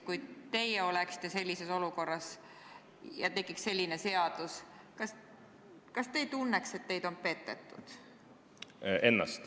Kui teie oleksite sellises olukorras ja võetaks vastu selline seadus, kas te ei tunneks, et teid on petetud?